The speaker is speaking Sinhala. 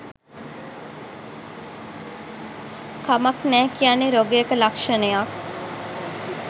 කමක් නෑ කියන්නේ රොගයක ලක්ශනයක්